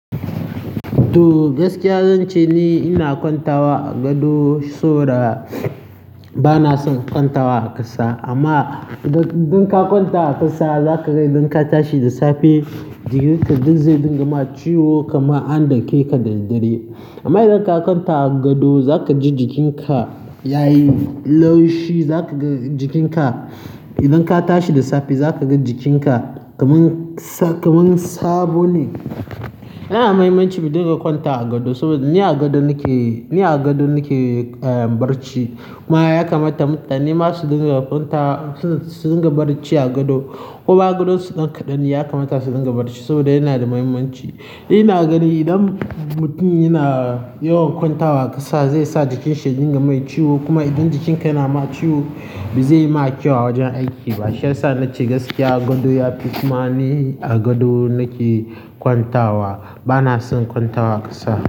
To, gaskiya zan ce ni ina kwantawa a gado, saboda bana son kwantawa a ƙasa. Amma idan ka kwanta a ƙasa, zaka ga idan ka tashi da safe jikinka duk zai dinga ma ciwo kamar an dake ka da daddare. Amma idan ka kwanta a gado, zaka ji jikinka ya yi laushi, zaka ga jikinka idan ka tashi da safe zaka ga jikinka kamar kamar sabo ne. Yana da muhimmanci mu dinga kwanta a gado saboda ni a gado nake, ni a gado nake barci. Kuma ya kamata mutane ma su dinga kwanta, su dinga barci a gado. Kuma gado su kaɗan kaɗan ne ya kamata su dinga barci saboda yana da muhimmanci. Ina gani idan mutum yana yawan kwantawa a ƙasa zai sa jikinsa ya dinga mai ciwo. Kuma idan jikinka yana ma ciwo ba zai yi maka kyau a wajen aiki ba. Shi ya sa na ce gaskiya a gado yafi. Kuma ni a gado nake kwantawa, bana son kwantawa a ƙasa.